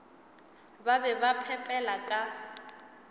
ba be ba phepela ka